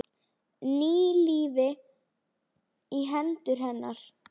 Ný lífi í hendur hennar.